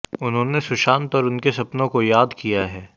उन्होंने सुशांत और उनके सपनों को याद किया है